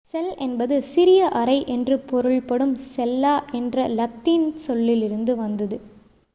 செல் என்பது சிறிய அறை என்று பொருள்படும் செல்லா என்ற இலத்தீன் சொல்லில் இருந்து வந்தது